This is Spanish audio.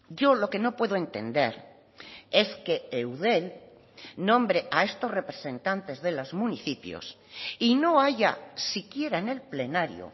yo lo que no puedo entender es que eudel nombre a estos representantes de los municipios y no haya siquiera en el plenario